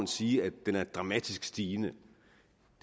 sige at den er dramatisk stigende